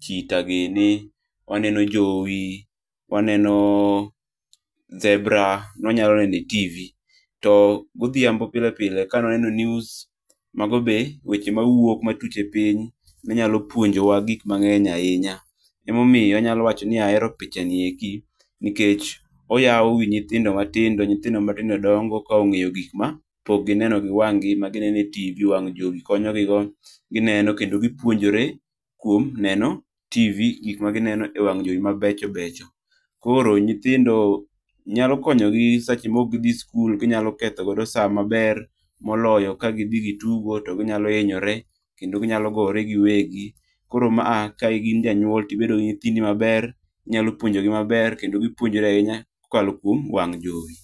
cheetah gini, waneno jowi, wanneno zebra nwa nyalo neno e TV[cs. To godhiambo pile pile ka nwa neno news, mago be weche mawuok matut e piny manyalo puonjowa gik mang'eny ahinya. Emomiyo anyalo wacho ni ahero pichani eki nikech, oyaw wi nyithindo matindo, nyithindo matinde dongo ka ong'eyo gik mapok gineno gi wang'gi. Matiende ni TV wang' jowi konyogi ,gineno kendo gipuonjore kuom neno TV gik magineno e wang' jowi mabecho becho. Koro nyithindo, nyalo konyo gi seche mok gidhi sikul ginyalo ketho godo sa maber moloyo ka gidhi gitugo to ginyalo hinyore kendo ginyalo gore giwegi. Koro ma a ka in janyuol tibedo gi nyithindi maber, inyalo puonjogi maber kendo gipuonjore ahinya kokalo kuom wang' jowi.